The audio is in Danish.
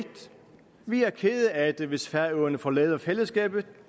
vi er kede af det hvis færøerne forlader fællesskabet